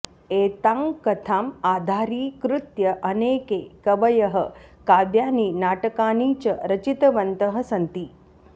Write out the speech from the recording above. एतां कथाम् आधारीकृत्य अनेके कवयः काव्यानि नाटकानि च रचितवन्तः सन्ति